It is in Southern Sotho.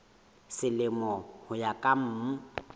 selemo ho ya ka mm